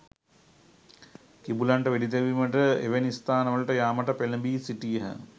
කිඹුලන්ට වෙඩි තැබීමට එවැනි ස්ථානවලට යාමට පෙළඹී සිටියහ